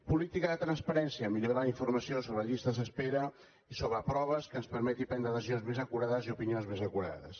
política de transparència millorar la informació sobre llistes d’espera i sobre proves que ens permeti prendre decisions més acurades i opinions més acurades